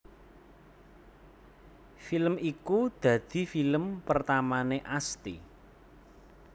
Film iku dadi film pertamané Asti